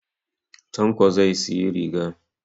Tanko zai siyi riga